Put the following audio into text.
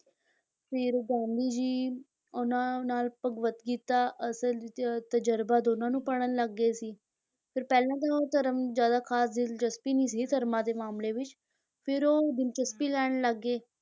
ਫਿਰ ਗਾਂਧੀ ਜੀ ਉਨ੍ਹਾਂ ਨਾਲ ਭਗਵਤ ਗੀਤਾ ਅਸਲ ਤ ਤਜ਼ਰਬਾ ਦੋਨਾਂ ਨੂੰ ਪੜ੍ਹਨ ਲੱਗ ਗਏ ਸੀ, ਫਿਰ ਪਹਿਲਾਂ ਤਾਂ ਉਹ ਧਰਮ ਜ਼ਿਆਦਾ ਖ਼ਾਸ ਦਿਲਚਸਪੀ ਨਹੀਂ ਸੀ ਧਰਮਾਂ ਦੇ ਮਾਮਲੇ ਵਿੱਚ, ਫਿਰ ਉਹ ਦਿਲਚਸਪੀ ਲੈਣ ਲੱਗੇ